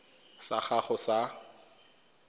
sa gago sa irp it